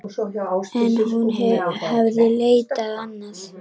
En hún hafði leitað annað.